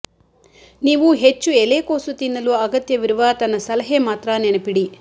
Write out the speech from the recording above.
ನೀವು ಹೆಚ್ಚು ಎಲೆಕೋಸು ತಿನ್ನಲು ಅಗತ್ಯವಿರುವ ತನ್ನ ಸಲಹೆ ಮಾತ್ರ ನೆನಪಿಡಿ